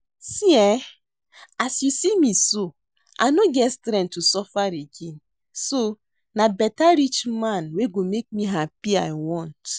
See eh, as you see me so I no get strength to suffer again so na beta rich man wey go make me happy I want